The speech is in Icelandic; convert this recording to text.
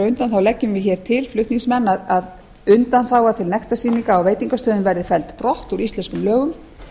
undan leggjum við hér til flutningsmenn að undanþága til nektarsýninga á veitingastöðum verði felld brott úr íslenskum lögum